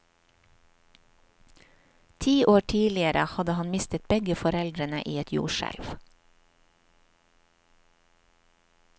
Ti år tidligere hadde han mistet begge foreldrene i et jordskjelv.